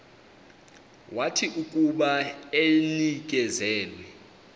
wathi akuba enikezelwe